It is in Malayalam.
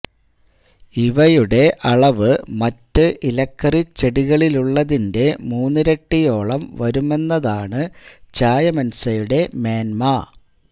ഇവയുടെ അളവ് മറ്റ് ഇലക്കറി ചെടികളിലുള്ളതിന്റെ മൂന്നിരട്ടിയോളം വരുമെന്നതാണ് ചായമൻസയുടെ മേന്മ